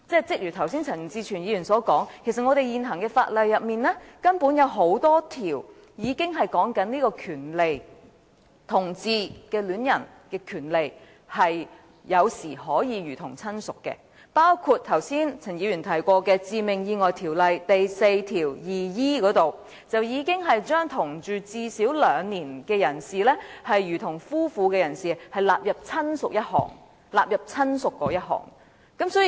正如陳志全議員剛才所說，其實在現行法例中根本已有很多訂明同志戀人的權利有時可以如同親屬，包括陳議員剛才提及的《致命意外條例》第 42e 條，該條文已把同住最少兩年，如同夫妻的人士納入"親屬"之內。